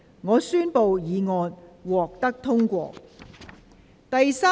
我宣布議案獲得通過。